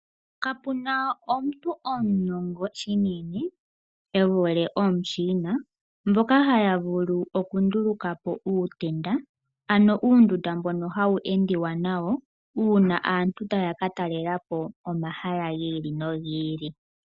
Kapu na omuntu omunongo shinene e vule omuChina mboka haya vulu okunduluka po uutenda ano uundunda mbono hawu endwa nawo uuna aantu taya ka talela po komahala gi ili nogi ili.